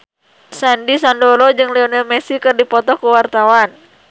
Sandy Sandoro jeung Lionel Messi keur dipoto ku wartawan